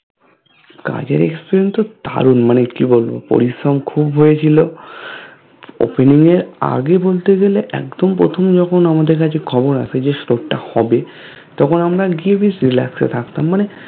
কাজের Experience তো দারুন মানে কি বলবো পরিশ্রম খুব হয়েছিল Opening এর আগে বলতে গেলে একদম প্রথম যখন আমাদের কাছে খবর আসে যে Store টা হবে তখন আমরা গিয়ে বেশ Relax এ থাকতাম মানে